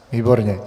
Výborně.